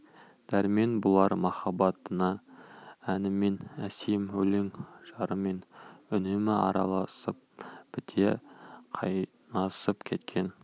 дәрмен бұлар махаббатына әнімен әсем өлең жырымен үнемі араласып біте қайнасып кеткен